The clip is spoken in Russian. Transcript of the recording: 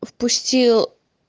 впустил